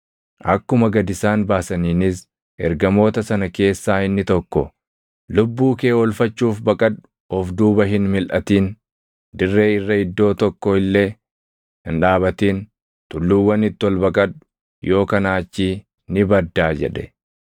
Akkuma gad isaan baasaniinis ergamoota sana keessaa inni tokko, “Lubbuu kee oolfachuuf baqadhu! Of duuba hin milʼatin! Dirree irra iddoo tokko illee hin dhaabatin! Tulluuwwanitti ol baqadhu; yoo kanaa achii ni baddaa!” jedhe.